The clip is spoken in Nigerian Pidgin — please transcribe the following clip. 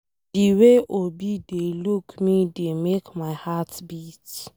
The way Obi dey look me dey make my heart beat.